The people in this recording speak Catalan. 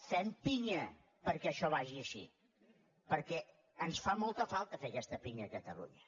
fem pinya perquè això vagi així perquè ens fa molta falta fer aquesta pinya a catalunya